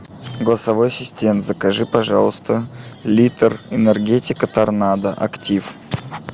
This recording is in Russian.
голосовой ассистент закажи пожалуйста литр энергетика торнадо актив